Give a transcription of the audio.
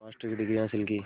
master की degree हासिल की